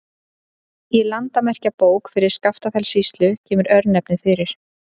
Í Landamerkjabók fyrir Skaftafellssýslu kemur örnefnið fyrir.